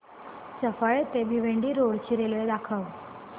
सफाळे ते भिवंडी रोड ची रेल्वे दाखव